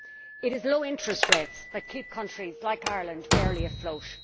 It is low interest rates that keep countries like Ireland barely afloat.